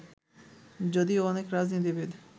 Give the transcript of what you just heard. যদিও অনেক রাজনীতিবিদ